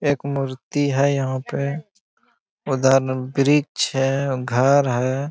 एक मूर्ति है यहां पे उधर वृक्ष है घर है।